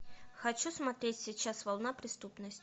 хочу смотреть сейчас волна преступности